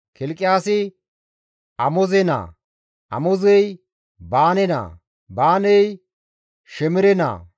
Kilqiyaasi Amoze naa; Amozey Baane naa; Baaney Shemere naa;